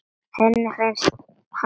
Henni fannst hann fagur